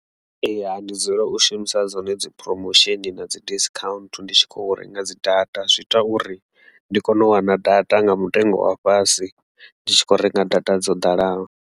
Ee, ha ndi dzula u shumisa dzone dzi promosheni na dzi discount ndi tshi khou renga dzi data zwi ita uri ndi kone u wana data nga mutengo wa fhasi ndi tshi kho renga data dzo ḓalaho.